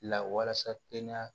Lawalasa kɛnɛya